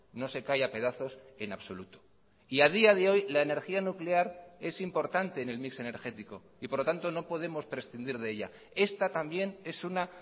no se cae a pedazos en absoluto y a día de hoy la energía nuclear es importante en el mix energético y por lo tanto no podemos prescindir de ella esta también es una